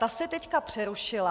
Ta se teď přerušila.